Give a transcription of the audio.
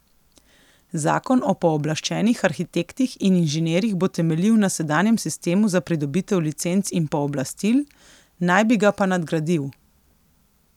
Zakon o pooblaščenih arhitektih in inženirjih bo temeljil na sedanjem sistemu za pridobitev licenc in pooblastil, naj bi ga pa nadgradil.